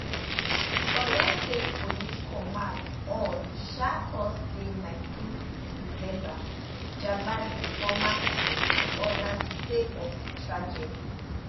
di oyo state police command on um thursday 19 december gbab di former queen and odas sake of di tragedy